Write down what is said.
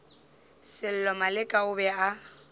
sello maleka o be a